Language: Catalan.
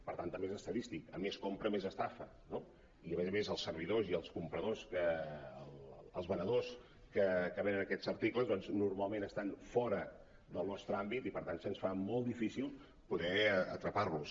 per tant també és estadístic com més compra més estafa no i a més a més els servi·dors i els venedors que venen aquests articles doncs normalment estan fora del nos·tre àmbit i per tant se’ns fa molt difícil poder atrapar·los